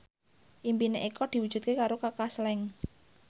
impine Eko diwujudke karo Kaka Slank